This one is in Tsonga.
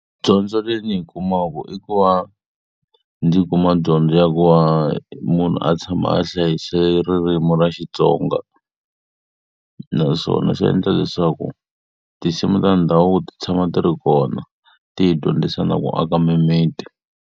Dyondzo leyi ndzi yi kumaka i ku va ndzi kuma dyondzo ya ku va munhu a tshama a hlayise ririmi ra Xitsonga, naswona swi endla leswaku tinsimu ta ndhavuko ti tshama ti ri kona ti hi dyondzisa na ku aka mimiti.